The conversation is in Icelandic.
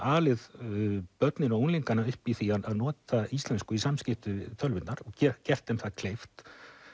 alið börnin og unglingana upp í því að nota íslensku í samskiptum við tölvurnar og gert þeim það kleift